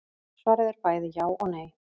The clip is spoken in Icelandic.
Svarið er bæði já og nei.